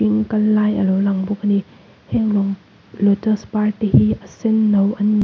kal lai a lo lang bawk a ni heng lotus par te hi a sen no an ni.